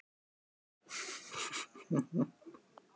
Nonna, en það komu engin tár.